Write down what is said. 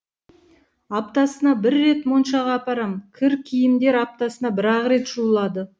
аптасына бір рет моншаға апарам кір киімдер аптасына бір ақ рет жуылады